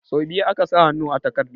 Sau biyu aka sa hannu a takardar